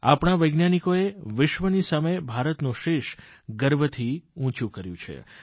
આપણા વૈજ્ઞાનિકોએ વિશ્વની સામે ભારતનું શીશ ગર્વથી ઉંચું કર્યું છે